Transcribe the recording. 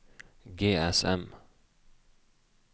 GSM